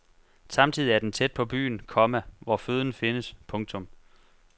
Samtidig er den tæt på byen, komma hvor føden findes. punktum